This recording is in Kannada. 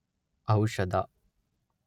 ಔಷಧ